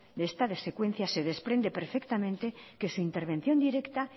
de esta secuencia se desprende perfectamente que su intervención directa